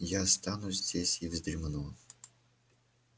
я останусь здесь и вздремну